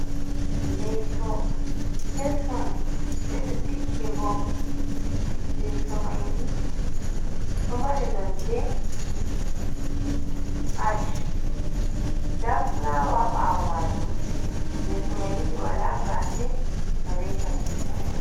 Leesu kesum beɗo tiggigo. Leso maini ɗo mari nonde ash. Nda fulawa ha bawo majum. leso maini be wala gafe balle katifa.